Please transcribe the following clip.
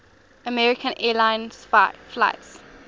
american airlines flight